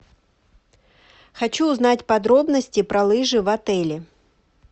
хочу узнать подробности про лыжи в отеле